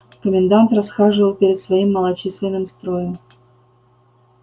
комендант расхаживал перед своим малочисленным строем